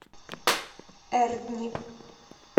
эрдни